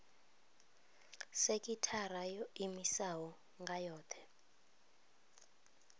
sekithara yo iimisaho nga yohe